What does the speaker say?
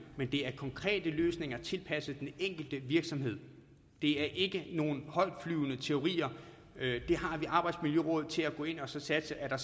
men det er konkrete løsninger tilpasset den enkelte virksomhed det er ikke nogle højtflyvende teorier vi har arbejdsmiljørådet til at gå ind og sikre at der